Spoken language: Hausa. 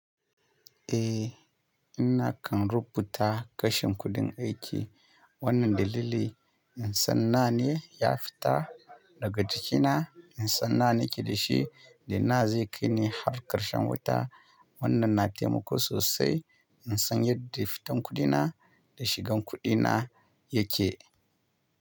Eh, inakan rubuta kashin kuɗin aiki. Wannan dalili in san nawa ne ya fita daga jikina, insan nawa nake dashi, da nawa zai kaini har ƙarshen wata. Wannan na taimako sosai insan yadda fitan kuɗina, da shigan kuɗina yake.